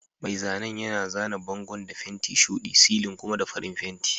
Mai zanen yana zana bangon da fenti shuɗi, silin kuma da farin fenti.